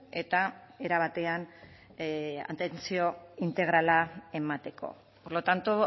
eta era batean atentzio integrala emateko por lo tanto